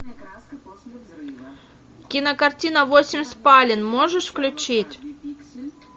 кинокартина восемь спален можешь включить